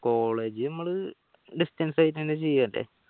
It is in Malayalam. college മ്മൾ distance ആയിട്ട്ന്നെ ചെയ്യൽ അല്ലേ